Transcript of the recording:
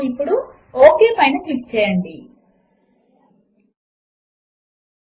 ఇప్పుడు ఫైల్ మరియు సేవ్ పైన క్లిక్ చేయడము ద్వారా మన పనిని సేవ్ చేసుకుందాము